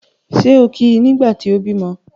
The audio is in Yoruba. Ṣé o kí i nígbà tí o bímọ́?